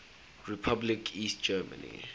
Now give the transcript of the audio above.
republic east germany